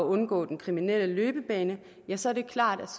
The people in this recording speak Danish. undgå en kriminel løbebane ja så er det klart